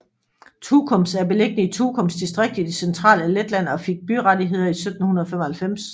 Tukums er beliggende i Tukums distrikt i det centrale Letland og fik byrettigheder i 1795